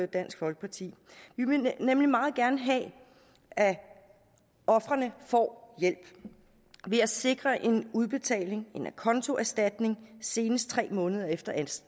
dansk folkeparti vi vil nemlig meget gerne have at ofrene får hjælp ved at sikre en udbetaling en acontoerstatning senest tre måneder efter